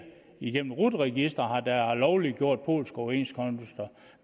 igennem rut registeret har lovliggjort polske overenskomster